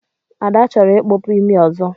Ada chọrọ ikpọpu imi ọzọ.